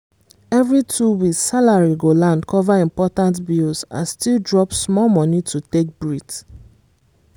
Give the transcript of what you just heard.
every two weeks salary go land cover important bills and still drop small money to take breathe.